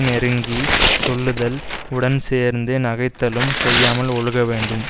நெருங்கி சொல்லுதல் உடன் சேர்ந்து நகைத்தலும் செய்யாமல் ஒழுகவேண்டும்